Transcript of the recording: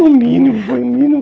O mínimo, foi o mínimo.